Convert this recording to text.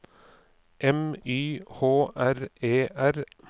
M Y H R E R